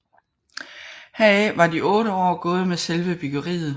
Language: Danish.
Heraf var de otte år gået med selve byggeriet